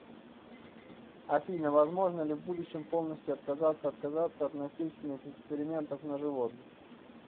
афина возможно ли в будущем полностью отказаться отказаться от насильственных экспериментов на животных